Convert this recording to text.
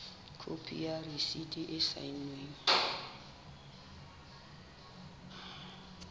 khopi ya rasiti e saennweng